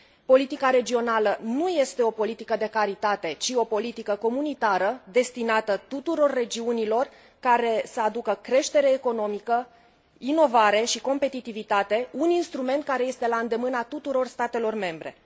Politica regională nu este o politică de caritate, ci o politică comunitară, destinată tuturor regiunilor, care să aducă creștere economică, inovare și competitivitate, un instrument care este la îndemâna tuturor statelor membre.